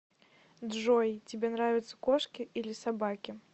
джой тебе нравятся кошки или собаки